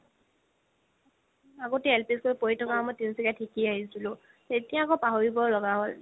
আগতে LP school ত পঢ়ি থাকা সময়ত তিনিচুকীয়া শিকি আহিছিলো এতিয়া আকৌ পাহৰিব লাগা হ'ল